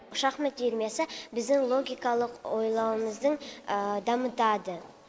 шахмат үйірмесі біздің логикалық ойлауымыздың дамытады